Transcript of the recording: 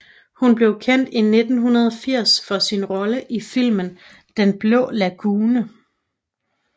Hun blev kendt i 1980 for sin rolle i filmen Den blå lagune